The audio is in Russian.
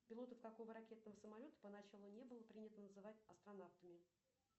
пилотов какого ракетного самолета поначалу не было принято называть астронавтами